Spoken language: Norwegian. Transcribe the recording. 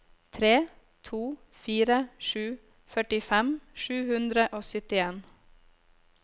tre to fire sju førtifem sju hundre og syttien